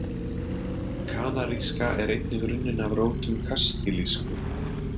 Kanaríska er einnig runnin af rótum kastilísku.